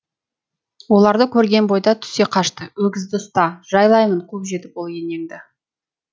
оларды көрген бойда түсе қашты өгізді ұста жайлаймын қуып жетіп ол енеңді